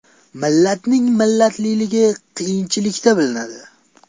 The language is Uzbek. Millatning millatligi qiyinchilikda bilinadi.